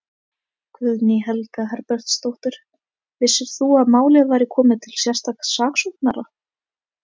Guðný Helga Herbertsdóttir: Vissir þú að málið væri komið til sérstaks saksóknara?